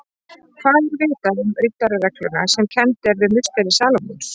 Hvað er vitað um riddararegluna sem kennd er við musteri Salómons?